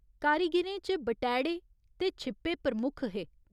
कारीगिरें च बटैह्ड़े ते छिप्पे प्रमुख हे।